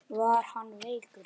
Var hann veikur?